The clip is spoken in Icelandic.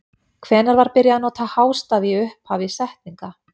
Hvenær var byrjað að nota hástafi í upphafi setninga?